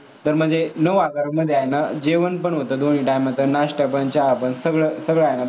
तर म्हणजे नऊ हजारमध्ये आहे ना, जेवण पण होतं, दोन्ही time चा, नाष्टा पण, चहा पण, सगळं आहे सगळं आहे.